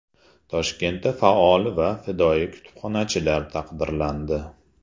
Toshkentda faol va fidoyi kutubxonachilar taqdirlandi.